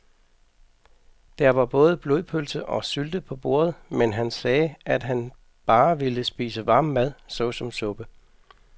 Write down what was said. Der var både blodpølse og sylte på bordet, men han sagde, at han bare ville spise varm mad såsom suppe.